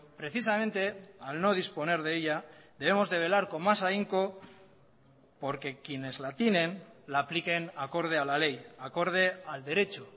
precisamente al no disponer de ella debemos de velar con más ahínco porque quienes la tienen la apliquen acorde al a ley acorde al derecho